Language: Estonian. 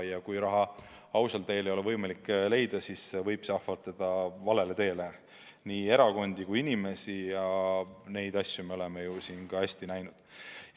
Ja kui raha ausal teel ei ole võimalik leida, siis võib see ahvatleda valele teele nii erakondi kui üksikisikuid ja seda me oleme ju siin hästi näinud.